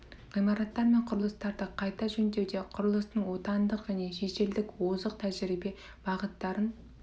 ғимараттар мен құрылыстарды қайта жөндеуде құрылыстың отандық және шетелдік озық тәжірибе бағыттарын